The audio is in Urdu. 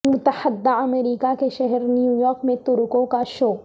متحدہ امریکہ کے شہر نیو یارک میں ترکوں کا شو